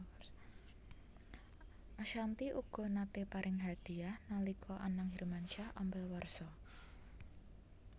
Ashanty uga naté paring hadiyah nalika Anang Hermansyah ambal warsa